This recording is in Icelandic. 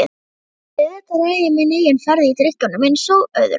Auðvitað ræð ég minni eigin ferð í drykkjunni einsog öðru.